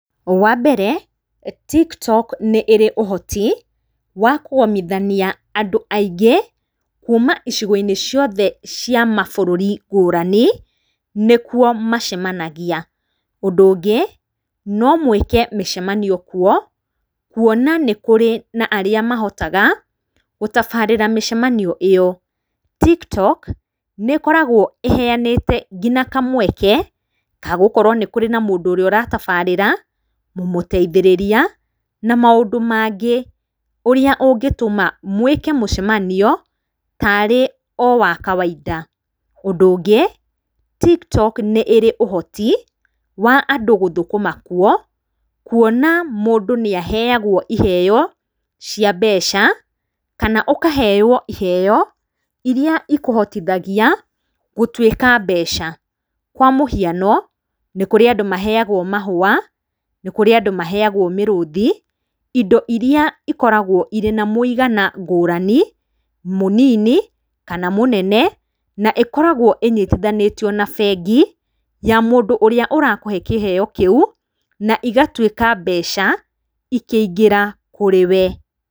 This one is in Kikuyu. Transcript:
Wambere tik tok nĩrĩ ũhoti wa kũgomithania andũ aingĩ kuma icigo-inĩ ciothe cia mabũrũri ngũrani nĩkuo macemanagia. Ũndũ ũngĩ no mwĩke mĩcemanio kuo kuona nĩ kũrĩ na arĩa mahotaga gũtabarĩra mĩcemanio ĩyo. Tik tok nĩĩkoragwo ĩheyanĩte nginya kamweke gagũkorwo nĩ kũrĩ na mũndũ ũrĩa ũratabarĩra, mũmũteithĩrĩria na maũndũ mangĩ ũrĩa ũngĩtũma mwĩke mũcemanio tarĩ o wa kawaida. Ũndũ ũngĩ tik tok nĩrĩ ũhoti wa andũ gũthũkũma kuo kuona mũndũ nĩaheyagwo iheyo cia mbeca kana ũkaheo iheyo iria ikũhotithagia gũtuĩka mbeca. Kwa mũhiano, nĩ kũrĩ andũ maheyagwo mahũa, nĩkũrĩ andũ maheyagwo mĩrũthi indo iria ikoragwo na mũigana ngũrani, mũnini kana mũnene na ĩkoragwo ĩnyitithanĩtio na bengi ya mũndũ ũrĩa ũrakũhe kĩheo kĩu na igatuĩka mbeca ikĩingĩra kũrĩ wee.